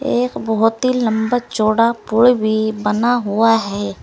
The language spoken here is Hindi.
एक बहोत ही लंबा चौड़ा पुल भी बना हुआ है।